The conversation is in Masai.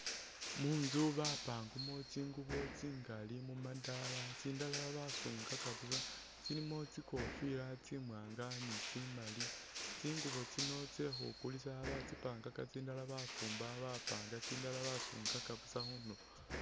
Munzu bapangamo tsingubo tsingali mumadala, tsindala basungaka busa, tsilimo tsikofila tsi'mwanga ni tsi'mali, tsingubo tsino tsekhukulisa batsipangaka tsindala bafumba bapanga tsindala basungaka busa khundulo